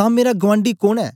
तां मेरा गुआंडी कोन ऐ